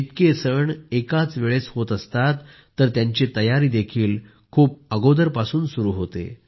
इतके सण एकाच वेळेस होत असतात तर त्यांची तयारीही खूप अगोदरपासून सुरू होते